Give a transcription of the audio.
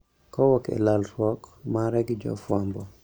Kowuok e lalruok mare gi jofwambo